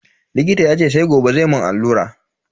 Likita yace sai gobe zai mun allura.